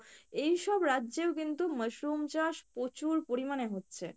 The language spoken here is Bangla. এইসব রাজ্যেও কিন্তু mushroom চাষ প্রচুর পরিমাণে হচ্ছে ।